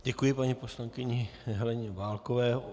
Děkuji paní poslankyni Heleně Válkové.